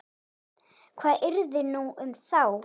Hvað yrði nú um þá?